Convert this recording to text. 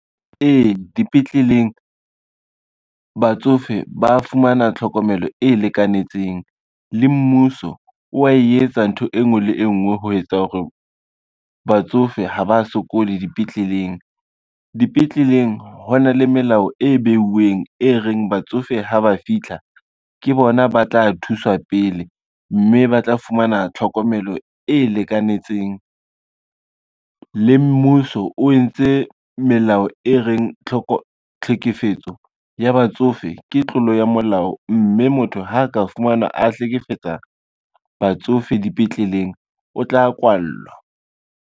Ee dipetleleng, batsofe ba fumana tlhokomelo e lekanetseng le mmuso wa etsa ntho e ngwe le e ngwe ho etsa hore batsofe ha ba sokole dipetleleng. Dipetleleng ho na le melao e beuweng e reng batsofe ha ba fitlha ke bona ba tla thuswa pele, mme ba tla fumana tlhokomelo e lekanetseng. Le mmuso o entse melao e reng tlhekefetso ya batsofe ke tlolo ya molao, mme motho ha a ka fumanwa a hlekefetsa batsofe dipetleleng, o tla kwallwa.